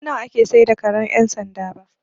Ban san nawa ake sayar da karen ƴan sanda ba.